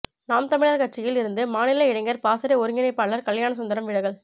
நாம் தமிழர் கட்சியில் இருந்து மாநில இளைஞர் பாசறை ஒருங்கிணைப்பாளர் கல்யாணசுந்தரம் விலகல்